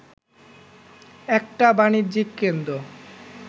একটা বাণিজ্যিক কেন্দ্র